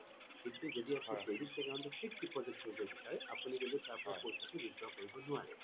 কিন্তু যদি আপুনি savings account টো fixed deposit কৰিব বিচাৰে আপুনি কিন্তু তাৰ পৰা পইছা টো কিন্তু withdraw কৰিব নোৱাৰে